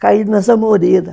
caí nas amoreiras.